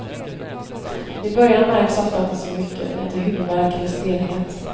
I början märks ofta inte så mycket, lite huvudvärk eller stelhet.